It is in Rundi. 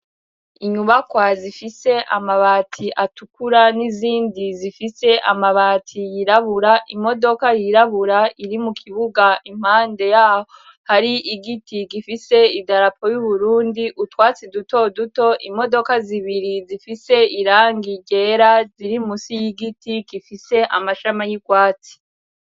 Inyubakwa zifise amabati atukura n'izindi zifise amabati yirabura imodoka yirabura iri mu kibuga impande yaho hari igiti gifise idarapo y'uburundi utwatsi duto duto imodoka zibiri zifise iranga gera ziri musi y'igiti igifise amashama y'irwatsi.